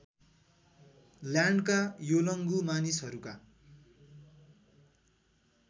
ल्यान्डका Yolngu मानिसहरूका